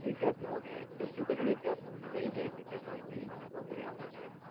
વિદ્યાર્થીઓ ને educated વિદ્યાર્થીઓ ને લઇ જાય છે ત્યાં નોકરી માં ને નોકરી આપે છે.